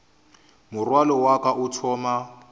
morwalo wa ka o thoma